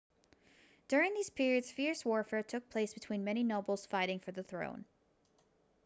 during these periods fierce warfare took place between many nobles fighting for the throne